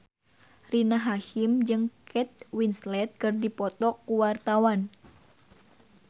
Rina Hasyim jeung Kate Winslet keur dipoto ku wartawan